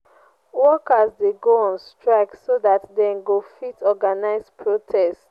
workers de go on strike so that dem go fit organise protest